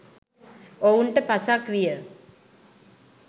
ඔවුන්ට පසක් විය.